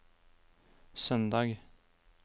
søndag